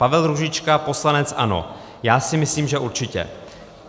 Pavel Růžička, poslanec ANO: Já si myslím, že určitě.